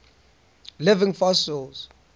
living fossils